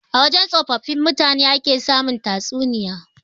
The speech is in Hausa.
A wajan tsofaffin mutane ake samun tatsuniyoyi.